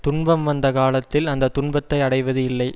துன்பம் வந்த காலத்தில் அந்த துன்பத்தை அடைவது இல்லை